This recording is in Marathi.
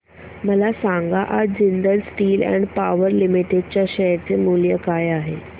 मला सांगा आज Jindal steel and power limited च्या शेअर चे मूल्य काय आहे